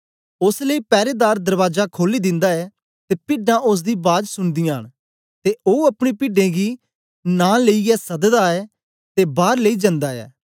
ओस लेई पैरेदार दरबाजा खोली दिन्दा ऐ ते पिड्डां ओसदी बाज सुनदीयां न ते ओ अपनी पिड्डें गी नां लेईयै सददा ऐ ते बार लेई जन्दा ऐ